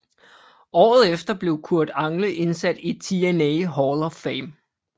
Året efter blev Kurt Angle indsat i TNA Hall of Fame